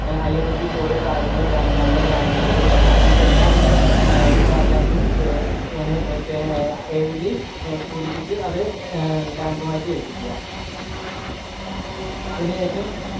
പിന്നെ IFSC code കാര്യങ്ങള് bank number bank code അങ്ങനത്തെ എല്ലാവിധ datas ഉം പെന പെ എഴുതി പൂരിപ്പിച് അത് bank ഉമായിറ്റ് ഏൽപ്പിക്കുക അതിന് ശേഷം